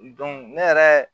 ne yɛrɛ